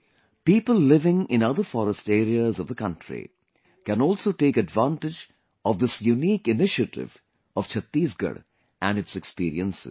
People living in other forest areas of the country can also take advantage of this unique initiative of Chhattisgarh and its experiences